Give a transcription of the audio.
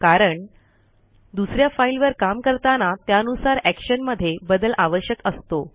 कारण दुस या फाईलवर काम करताना त्यानुसार एक्शन मध्ये बदल आवश्यक असतो